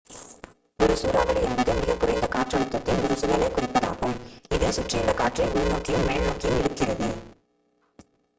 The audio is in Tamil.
ஒரு சூறாவளி என்பது மிகக் குறைந்த காற்றழுத்தத்தின் ஒரு சுழலைக் குறிப்பதாகும் இது சுற்றியுள்ள காற்றை உள்நோக்கியும் மேல்நோக்கியும் இழுக்கிறது